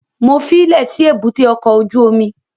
Mo fílẹ̀ sí èbúté ọkọ̀ ojú omi